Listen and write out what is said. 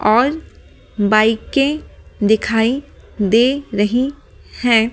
और बाइकें दिखाई दे रही हैं।